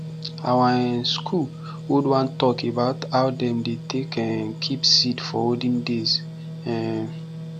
our um school hold one talk about how dem take dey um keep seed for olden days um